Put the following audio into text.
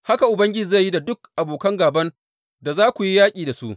Haka Ubangiji zai yi da duk abokan gāban da za ku yi yaƙi da su.